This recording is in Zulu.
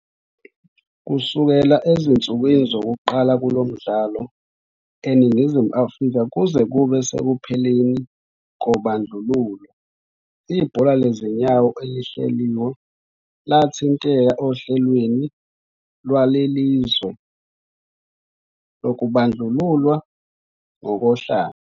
Kusukela ezinsukwini zokuqala kulo mdlalo eNingizimu Afrika kuze kube sekupheleni kobandlululo, ibhola lezinyawo elihleliwe lathinteka ohlelweni lwaleli lizwe lokubandlululwa ngokohlanga.